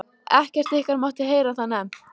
ekkert ykkar mátti heyra það nefnt!